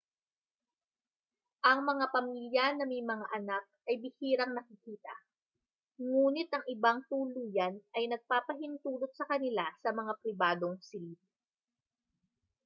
ang mga pamilya na may mga anak ay bihirang nakikita ngunit ang ibang tuluyan ay nagpapahintulot sa kanila sa mga pribadong silid